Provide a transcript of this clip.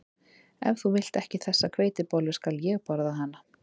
Ef þú vilt ekki þessa hveitibollu skal ég borða hana